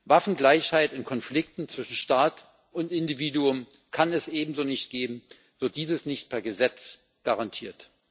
Waffengleichheit in Konflikten zwischen Staat und Individuum kann es ebenso nicht geben, wird dieses nicht per Gesetz garantiert.